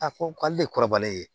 A ko k'ale de kɔrɔbalen ye